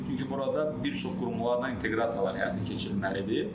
Çünki burada bir çox qurumlarla inteqrasiyalar həyata keçirilməlidir.